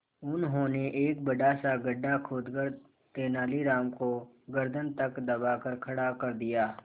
उन्होंने एक बड़ा सा गड्ढा खोदकर तेलानी राम को गर्दन तक दबाकर खड़ा कर दिया